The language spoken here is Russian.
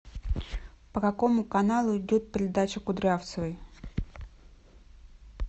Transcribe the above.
по какому каналу идет передача кудрявцевой